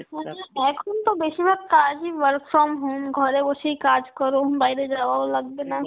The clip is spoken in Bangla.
এখন তো বেশিরভাগ কাজই work from home, ঘরে বসেই কাজ করো, উম বাইরে যাওয়া ও লাগবে না